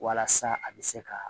Walasa a bɛ se ka